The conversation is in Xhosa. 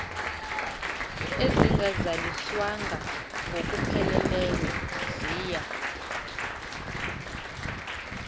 ezingazaliswanga ngokupheleleyo ziya